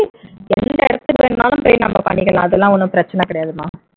எந்த இடத்துல வேணும்னாலும் போய் பண்ணிக்கலாம் அதெல்லாம் ஒண்ணும் பிரச்சினை கிடையாதுமா